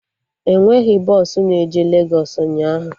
Enweghị bọsụ na-eje Legos ụnyaahụ